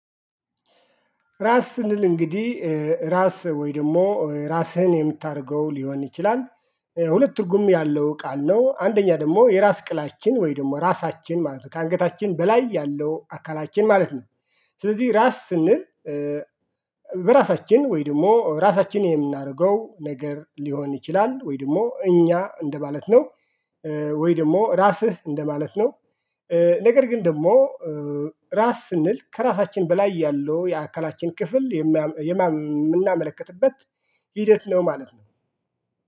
ራስ ስንል እንግዲህ ራስ ወይ ደግሞ ራስህን የምታደርገው ሊሆን ይችላል። ሁለት ትርጉም ያለው ቃል ነው አንደኛ ደግሞ የራስ ቅላችን ወይ ደግሞ ራሳችን ማለት ነው ከአንገታችን በላይ ያለው አካላችን ማለት ነው። ስለዚህ ራስ ስንል። በራሳችን ወይ ደግሞ ራሳችንን የምናደርገው ነገር ሊሆን ይችላል ወይ ደግሞ እኛ እንደማለት ነው። ወይ ደግሞ ራስህ እንደማለት ነው። ነገር ግን ደግሞ ራስ ስንል ከራሳችን በላይ ያለው የአካላችን ክፍል የምናመለክትበት ሂደት ነው። ማለት ነው